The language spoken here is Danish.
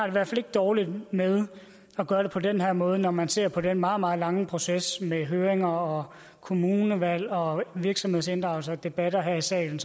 i hvert fald ikke dårligt med at gøre det på den her måde når man ser på den meget meget lange proces med høringer og kommunevalg og virksomhedsinddragelse og debatter her i salen